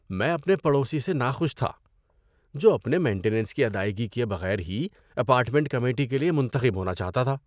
میں اپنے پڑوسی سے ناخوش تھا، جو اپنے مینٹیننس کی ادائیگی کیے بغیر ہی اپارٹمنٹ کمیٹی کے لیے منتخب ہونا چاہتا تھا۔